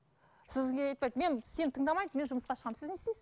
сізге айтпайды мен сені тыңдамайды мен жұмысқа шығамын сіз не істейсіз